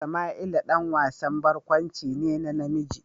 Sama'ila ɗan wasan barkwanci ne na namiji.